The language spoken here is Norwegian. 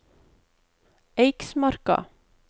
Eiksmarka